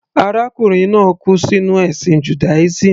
Arákùnrin náà kú sínú ẹ̀sìn Judaism.